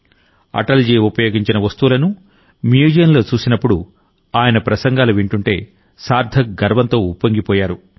అటల్ జీ ఉపయోగించిన వస్తువులను మ్యూజియంలో చూసినప్పుడు ఆయన ప్రసంగాలు వింటుంటే సార్థక్ గర్వంతో ఉప్పొంగిపోయారు